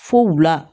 Fo wula